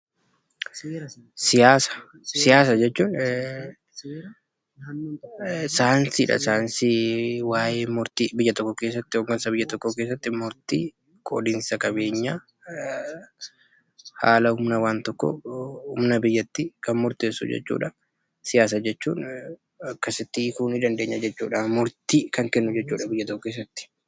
Siyaasa jechuun saayinsii hooggansa biyya tokkoo keessatti qoqqoodinsa qabeenyaa, humna biyyatti kan murteessu jechuudha.